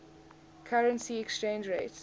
currency exchange rates